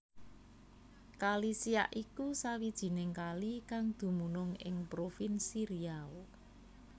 Kali Siak iku sawijining kali kang dumunung ing provinsi Riau